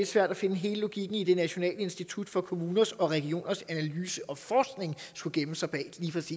svært at finde hele logikken i at det nationale institut for kommuners og regioners analyse og forskning skulle gemme sig bag